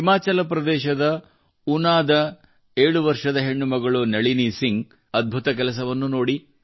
ಹಿಮಾಚಲ ಪ್ರದೇಶದ ಊನಾದ 7 ವರ್ಷದ ಹೆಣ್ಣು ಮಗಳು ನಳಿನಿ ಸಿಂಗ್ ಅದ್ಭುತ ಕೆಲಸವನ್ನು ನೋಡಿ